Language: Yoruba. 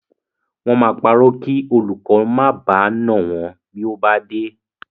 Wọ́n máa parọ́ kí olùkó má baà nà wọ́n bí ó bá dé.